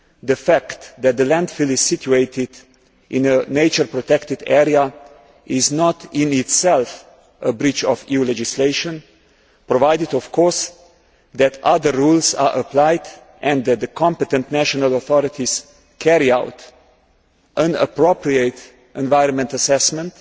The fact that the landfill is situated in a nature protected area is not, in itself, a breach of EU legislation, provided, of course, that other rules are applied and that the competent national authorities carry out an appropriate environment assessment